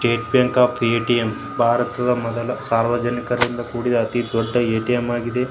State bank of ATM ಭಾರತದ ಮೊದಲ ಸಾರ್ವಜನಿಕರಿಂದ ಕುಡಿದ ಮೊದಲ ಎಟಿಎಂ ಆಗಿದೆ.